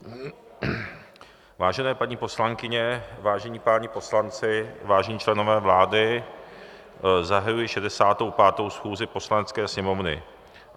Vážené paní poslankyně, vážení páni poslanci, vážení členové vlády, zahajuji 65. schůzi Poslanecké sněmovny.